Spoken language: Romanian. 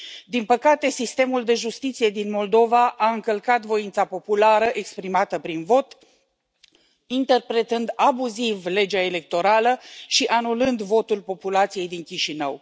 Din păcate, sistemul de justiție din Moldova a încălcat voința populară exprimată prin vot, interpretând abuziv legea electorală și anulând votul populației din Chișinău.